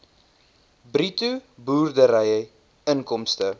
bruto boerdery inkomste